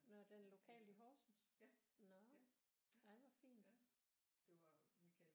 Nå den lokale i Horsens nå ej hvor fint